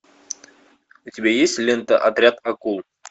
у тебя есть лента отряд акул